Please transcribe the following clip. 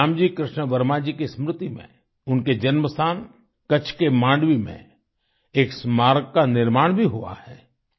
श्यामजी कृष्ण वर्मा जी की स्मृति में उनके जन्म स्थान कच्छ के मांडवी में एक स्मारक का निर्माण भी हुआ है